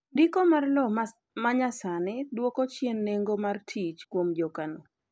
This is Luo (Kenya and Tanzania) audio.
ndiko mar lowo manyasani dwoko chien nengo mar tich kuom jokano